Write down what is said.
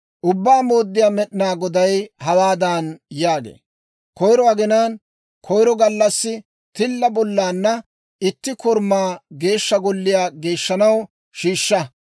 « ‹Ubbaa Mooddiyaa Med'inaa Goday hawaadan yaagee; «Koyiro aginaan, koyiro gallassi tilla bollaanna itti korumaa Geeshsha Golliyaa geeshshanaw shiishsha.